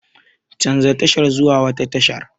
Canja tashar zuwa wata tashar!